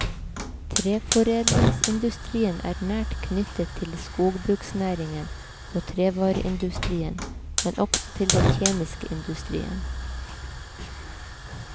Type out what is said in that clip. Treforedlingsindustrien er nært knyttet til skogbruksnæringen og trevareindustrien, men også til den kjemiske industrien.